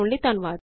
ਸ਼ਾਮਲ ਹੋਣ ਲਈ ਧੰਨਵਾਦ